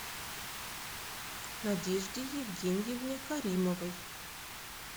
надежде евгеньевне каримовой